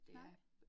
Nej